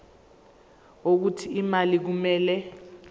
wokuthi imali kumele